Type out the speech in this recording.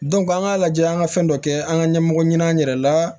an k'a lajɛ an ka fɛn dɔ kɛ an ka ɲɛmɔgɔ ɲin'an yɛrɛ la